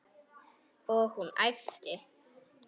Og hún æpti.